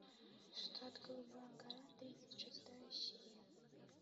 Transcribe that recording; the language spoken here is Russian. штат голубая гора тридцать шестая серия